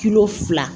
Kilo fila